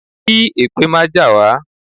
Kí èpè má jà wá.